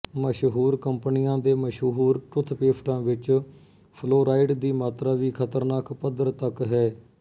ਮਸ਼ਹੂਰ ਕੰਪਨੀਆਂ ਦੇ ਮਸ਼ਹੂਰ ਟੁੱਥ ਪੇਸਟਾਂ ਵਿੱਚ ਫਲੋਰਾਈਡ ਦੀ ਮਾਤਰਾ ਵੀ ਖ਼ਤਰਨਾਕ ਪੱਧਰ ਤਕ ਹੈ